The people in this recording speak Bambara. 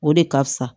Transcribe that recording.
O de ka fisa